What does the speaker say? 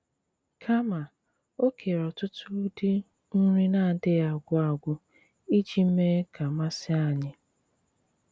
Kàmà, o kèrè ọ̀tùtù ụdị nri na-àdịghị̀ àgwù àgwù iji mèè ka masì ànyị̀.